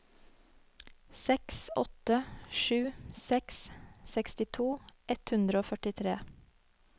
seks åtte sju seks sekstito ett hundre og førtitre